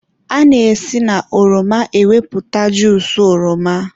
a na-esi na ọrọma enweta juusu oroma.